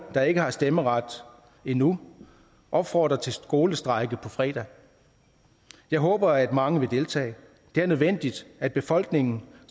der ikke har stemmeret endnu opfordrer til skolestrejke på fredag jeg håber at mange vil deltage det er nødvendigt at befolkningen